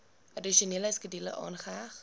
addisionele skedule aangeheg